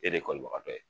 E de ye kɔlibagatɔ ye